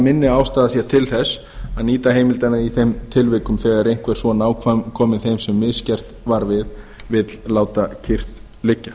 minni ástæða sé til þess að nýta heimildina í þeim tilvikum þegar einhver svo nákominn þeim sem misgert var við vill láta kyrrt liggja